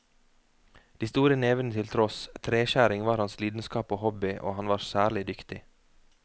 De store nevene til tross, treskjæring var hans lidenskap og hobby, og han var særlig dyktig.